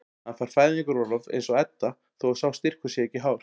Hann fær fæðingarorlof eins og Edda þó að sá styrkur sé ekki hár.